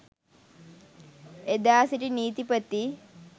එදා සිටි නීතිපති